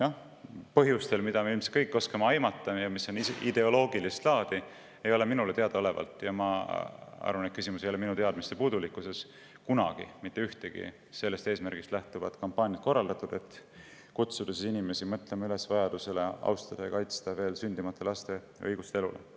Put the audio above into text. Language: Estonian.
Aga põhjustel, mida me ilmselt kõik oskame aimata ja mis on ideoloogilist laadi, ei ole minule teadaolevalt – ja ma arvan, et küsimus ei ole minu teadmiste puudulikkuses – kunagi mitte ühtegi sellist kampaaniat korraldatud, mis lähtuks eesmärgist kutsuda inimesi üles mõtlema vajadusele austada ja kaitsta veel sündimata laste õigust elule.